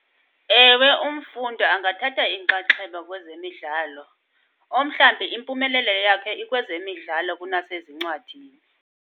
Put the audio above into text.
Ewe, umfundi angathatha inxaxheba kwezemidlalo. Omhlambi impumelelo yakhe ikwezemidlalo kunasezincwadini.